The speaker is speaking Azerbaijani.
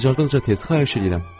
Bacardıqca tez, xahiş eləyirəm.